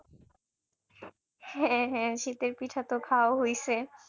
হ্যাঁ হ্যাঁ শীতের পিঠা তো খাওয়া হইছে